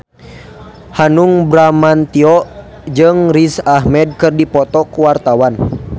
Hanung Bramantyo jeung Riz Ahmed keur dipoto ku wartawan